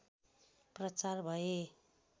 प्रचार भए